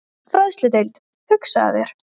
Fræðsludeild, hugsaðu þér!